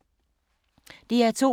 DR2